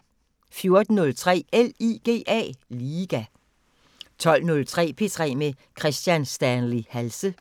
14:03: LIGA 20:03: P3 med Kristian Stanley Halse